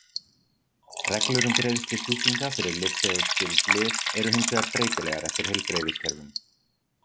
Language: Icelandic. Reglur um greiðslu sjúklinga fyrir lyfseðilsskyld lyf eru hins vegar breytilegar eftir heilbrigðiskerfum.